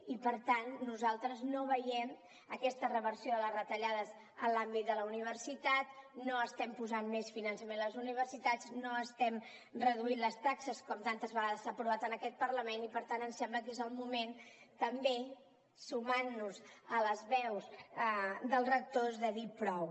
i per tant nosaltres no veiem aquesta reversió de les retallades en l’àmbit de la universitat no estem posant més finançament a les universitats no estem reduint les taxes com tantes vegades s’ha aprovat en aquest parlament i per tant ens sembla que és el moment també sumant nos a les veus dels rectors de dir prou